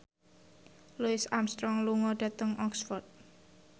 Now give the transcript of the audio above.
Louis Armstrong lunga dhateng Oxford